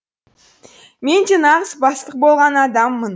мен де нағыз бастық болған адаммын